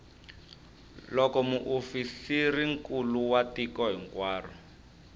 loko muofisirinkulu wa tiko hinkwaro